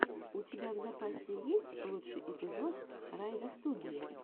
у тебя в запасе есть лучший эпизод райдостудии